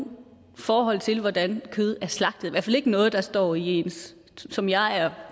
forhold til hvordan kød er slagtet i hvert fald ikke noget der står i ens som jeg